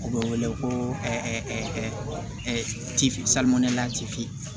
U bɛ wele ko